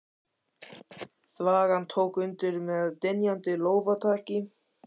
Þvagan tók undir með dynjandi lófataki.